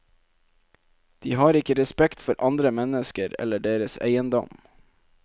De har ikke respekt for andre mennesker eller deres eiendom.